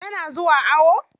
Tana zuwa awo?